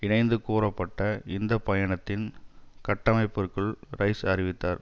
இணைத்து கூறப்பட்ட இந்த பயணத்தின் கட்டமைப்பிற்குள் ரைஸ் அறிவித்தார்